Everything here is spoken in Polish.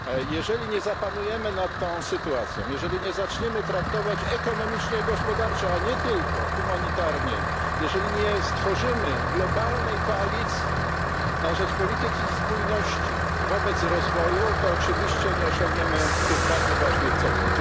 Jeżeli nie zapanujemy nad tą sytuacją, jeżeli nie zaczniemy traktować ekonomicznie i gospodarczo, a nie tylko humanitarnie, jeżeli nie stworzymy globalnej koalicji na rzecz polityki spójności wobec rozwoju, to oczywiście nie osiągniemy tych bardzo ważnych celów.